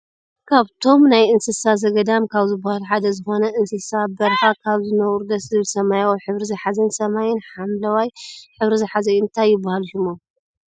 ካብቶም ናይ እንስሳ ዘገዳም ካብ ዝብሃሉ ሓደ ዝኮነ እንስሳ ኣብ በረካ ካብ ዝነብሩ ደስ ዝብል ሰማያዊ ሕብሪ ዝሓዘን ሰማይን ሓምለዋይ ሕብሪ ዝሓዘ እዩ። እንታይ ይብሃሉ ሽሞም?